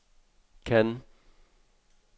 Cannes